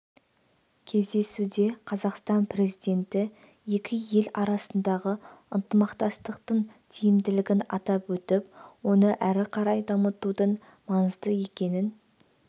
кездесуде қазақстан президенті екі ел арасындағы ынтымақтастықтың тиімділігін атап өтіп оны әрі қарай дамытудың маңызды екенін